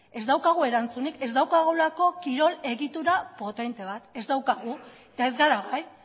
ez daukagu erantzunik ez daukagulako kirol egitura potente bat ez daukagu eta ez gara gai